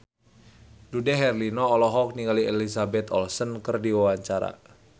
Dude Herlino olohok ningali Elizabeth Olsen keur diwawancara